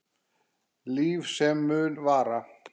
Líf sem mun vara.